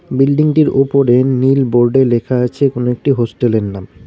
Building -টির ওপরে নীল বোর্ড -এ লেখা আছে কোনো একটি হোস্টেল -এর নাম।